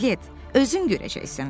Piqlet, özün görəcəksən.